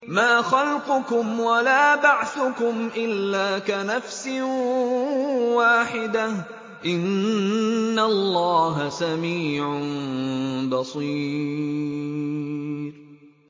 مَّا خَلْقُكُمْ وَلَا بَعْثُكُمْ إِلَّا كَنَفْسٍ وَاحِدَةٍ ۗ إِنَّ اللَّهَ سَمِيعٌ بَصِيرٌ